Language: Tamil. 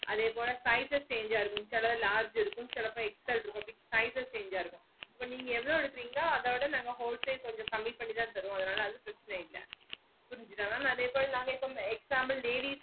அதேபோல sizes chance ஆஹ் இருக்கும் சில large இருக்கும் சிலதுல XL இருக்கும் sizes change ஆஹ் இருக்கும் இப்போ நீங்க எவ்ளோ எடுக்குறீஙக்ளோ அத விட நாங்க whole sale கொஞ்சம் கம்மியாத்தான் தருவோம் அதுனால அது பிரச்சன இல்ல புரிஞ்சிதா mam அதே போல for example ladies